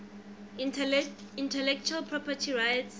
intellectual property rights